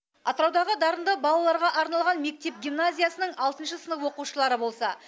атыраудағы дарынды балаларға арналған мектеп гимназиясының алтыншы сынып оқушылары болса